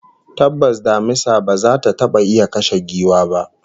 Tabbas damisa ba za ta taba iya kashe giwa ba